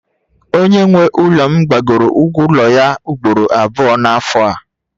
Onye nwe ụlọ m gbagoro ụgwọ ụlọ ya ugboro abụọ n'afọ a